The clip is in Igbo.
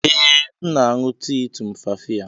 Ee, m na-aṅụ tii tumfafiya.